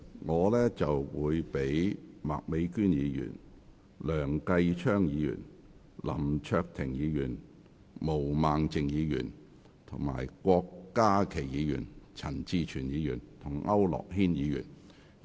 我會讓麥美娟議員、梁繼昌議員、林卓廷議員、毛孟靜議員、郭家麒議員、陳志全議員及區諾軒議員發言。